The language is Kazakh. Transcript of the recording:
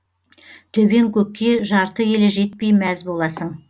төбең көкке жарты елі жетпей мәз боласың